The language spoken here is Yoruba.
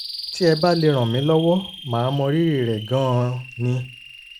tí ẹ bá lè ràn mí lọ́wọ́ màá mọrírì rẹ̀ gan-an ni!